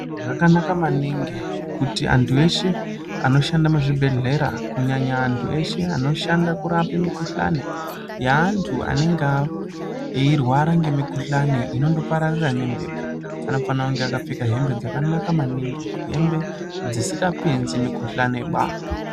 Zvakanaka maningi kuti antu eshe anoshanda muzvibhedhleya kunyanya antu eshe anoshanda kurape mikuhlani yeantu anenge eirware ngemikuhlani inondopararira ngembepo anofana kunge akapfeka hembe dzakanaka maningi hembe dzisingapinzi mikuhlani ba.